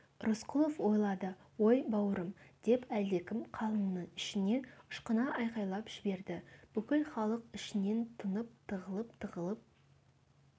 рысқұлов ойлады ой бауырым деп әлдекім қалыңның ішінен ышқына айқайлап жіберді бүкіл халық ішінен тынып тығылып-тығылып